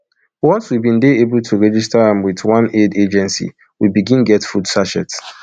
once we bin dey able to register am wit one aid agency we begin get food sachets